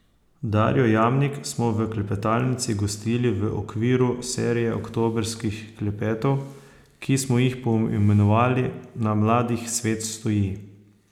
Darjo Jamnik smo v klepetalnici gostili v okviru serije oktobrskih klepetov, ki smo jih poimenovali Na mladih svet stoji.